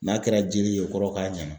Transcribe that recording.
N'a kɛra jeli ye o kɔrɔ k'a ɲana.